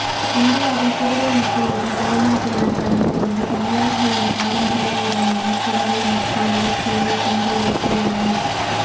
இந்தியாவில் புதுவை மக்களுடன் வெளிநாட்டினர் கலந்து கொண்டு தமிழர்களின் பாரம்பரிய உடையான புடவை மற்றும் வேஷ்டியில் பொங்கல் வைத்துள்ளனர்